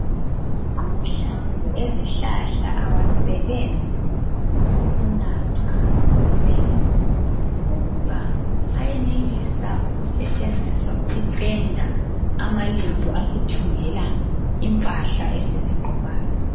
Amahlamvu ezihlahla awasebenzi ukunathwa kuphela kodwa ayenelisa ukusetshenziswa ukupenda amalembu asithungela impahla esizigqokayo.